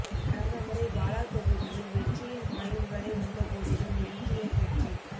கடந்த முறை பாலா தொகுதியில் வெற்றியின் வாயில்வரை வந்தபோதிலும் எல்டிஎப் வெற்றி